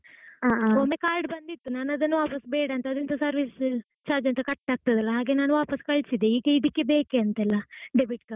ಒಮ್ಮೆ card ಬಂದಿತ್ತು, ಅದು ನಾನು ವಾಪಾಸ್ ಬೇಡ ಅಂತ ಅದು service charge cut ಆಗ್ತದೆ ಅಲಾ ಹಾಗೆ ವಾಪಾಸ್ ಕಳಿಸಿದೆ, ಈಗ ಇದಕ್ಕೆ ಬೇಕೇ ಅಂತೆ ಅಲಾ debit card .